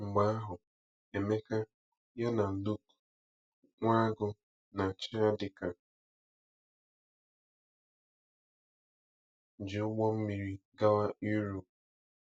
Mgbe ahụ, Emeka, ya na Luke, Nwagu, na Chiadika, ji ụgbọ mmiri gawa Europe.